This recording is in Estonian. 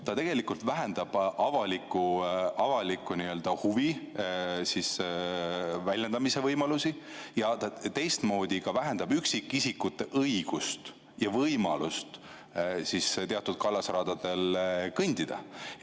See tegelikult vähendab avaliku huvi väljendamise võimalusi ja teistmoodi vähendab ka üksikisikute õigust ja võimalust teatud kallasradadel kõndida.